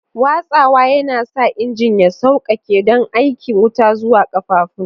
Watsawa yana sa injin ya sauƙaƙe don aika wuta zuwa ƙafafun.